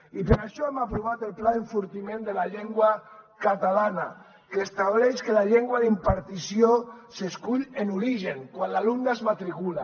i per això hem aprovat el pla d’enfortiment de la llengua catalana que estableix que la llengua d’impartició s’escull en origen quan l’alumne es matricula